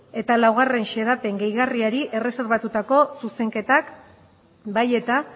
eta laugarren xedapen gehigarria erreserbatutako zuzenketak bai eta